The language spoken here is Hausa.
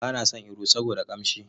Bana son iru saboda kamshi.